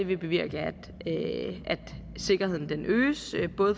vil bevirke at sikkerheden øges